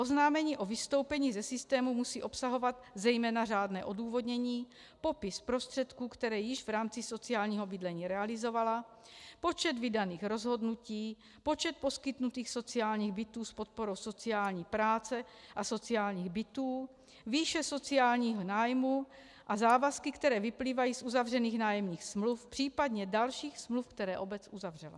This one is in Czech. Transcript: Oznámení o vystoupení ze systému musí obsahovat zejména řádné odůvodnění, popis prostředků, které již v rámci sociálního bydlení realizovala, počet vydaných rozhodnutí, počet poskytnutých sociálních bytů s podporou sociální práce a sociálních bytů, výše sociálního nájmu a závazky, které vyplývají z uzavřených nájemních smluv, případně dalších smluv, které obec uzavřela.